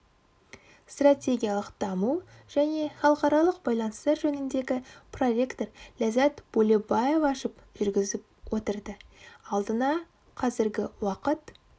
стратегиялық даму және халықаралық байланыстар жөніндегі проректор лаззат булебаева ашып жүргізіп отырды алдына қазіргі уақыт